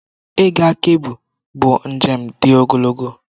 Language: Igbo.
Ịga Kebbi bụ njem dị ogologo.